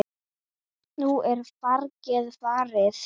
Nú er fargið farið.